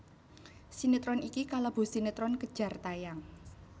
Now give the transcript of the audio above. Sinetron iki kalebu sinetron kejar tayang